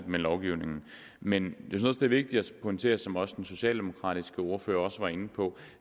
med lovgivningen men jeg synes det er vigtigt at pointere som også den socialdemokratiske ordfører var inde på